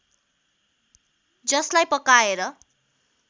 जसलाई पकाएर